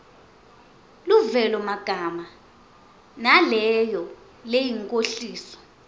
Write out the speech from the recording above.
luvelomagama naleyo leyinkhohliso